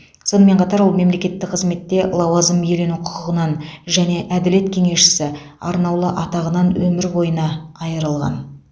сонымен қатар ол мемлекеттік қызметте лауазым иелену құқығынан және әділет кеңесшісі арнаулы атағынан өмір бойына айырылған